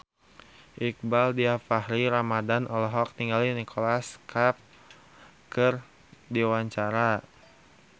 Iqbaal Dhiafakhri Ramadhan olohok ningali Nicholas Cafe keur diwawancara